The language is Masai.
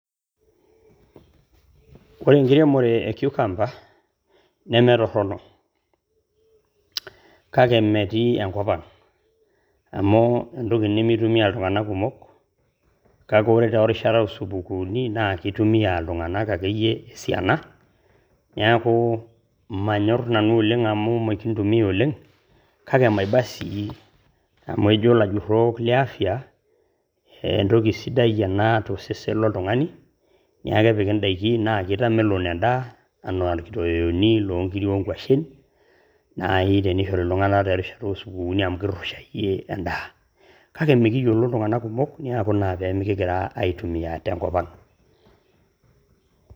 Ore enkiremore e cucumber neme torrono, kake mmetii ekop ang amu entoki nimitumia iltung`anak kumok. Kake ore te rishata oo supukuuni naa kitumia iltung`anak akeyie esiana. Niaku mmanyor nanu oleng amu mikintumia oleng, kake maiba sii amu ejo ilajurrok le afya entoki sidai ena to sesen loltung`ani. Niaku kepiki in`daikin naa kitamelok en`daa enaa irkitoweyoni loo nkirik o nkuashen naaji tenishori iltung`anak terishata oo supukuuni amu kirushayie en`daa. Kake mikiyiolo iltung`anak kumok niaku ina naa pee mikigira aitumia te nkop ang.